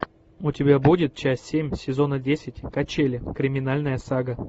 у тебя будет часть семь сезона десять качели криминальная сага